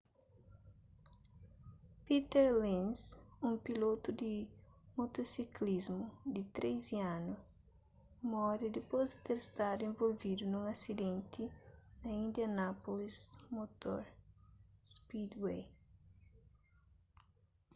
peter lenz un pilotu di motosiklismu di 13 anu móre dipôs di ter stadu involvidu nun asidenti na indianapolis motor speedway